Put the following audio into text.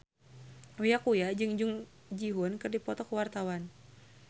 Uya Kuya jeung Jung Ji Hoon keur dipoto ku wartawan